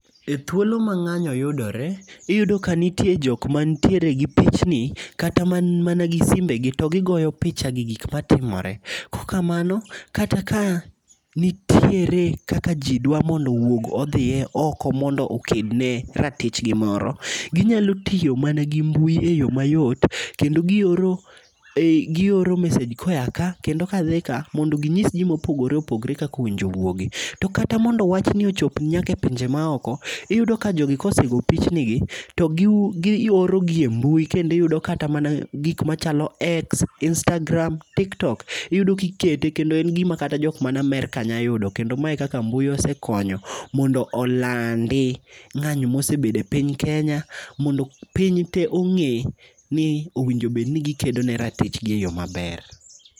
E thuolo ma ng'anyo yudore , iyudo ka nitie jok mantiere gi pichni kata man mana gi simbe to gigoyo picha gi gik matimore. Kokamano kata ka nitiere kaka jii dwa mondo owoug oko mondo oked ne ratichgi moro, ginyalo tiyo mana gi mbui e yo mayot kendo gioro e gioro message koya kaa kendo kadhi kaa mondo ginyis jii mopogore opogre kakowinjo owuogi. To kata mondo wachni ochop nyaka e pinje maoko ,iyudo ka jogi osego pichni gi to giorogi e mbui kendi yudo ka kata mana gik machako x, istagra, tiktok iyudo kikete kendo gima jok man Amerka nya yudo kendo mae kaka mbui osekonyo mondo olandi ng'anyo mosebedo e piny kenya, mondo piny tee ong'e ni owinjo bedni gikedo ne ratichgi e yoo maber.